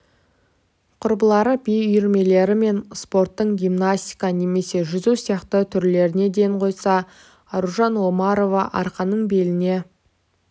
құрбылары би үйірмелері мен спорттың гимнастика немесе жүзу сияқты түрлеріне ден қойса аружан омарова арқанын беліне